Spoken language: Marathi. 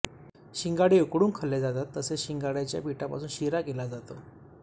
शिंगाडे उकडून खाल्ले जातात तसेच शिंगाड्याच्या पीठापासून शिरा केला जातो